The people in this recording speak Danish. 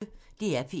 DR P1